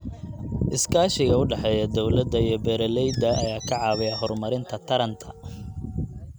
Iskaashiga u dhexeeya dawladda iyo beeralayda ayaa ka caawiya horumarinta taranta.